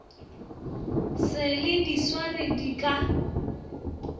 se le diswari di ka